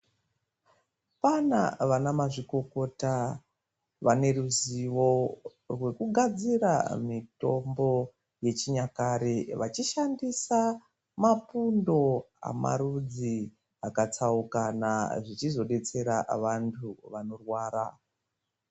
Kwaana vanamazvikokota vane ruzivo rwekugadzira mitombo yechinyakare vachishandisa mapundo amarudzi akatsaukana zvichizodetsera vantu vanorwara.